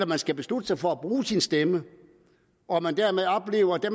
man skal beslutte sig for at bruge sin stemme og at man dermed oplever at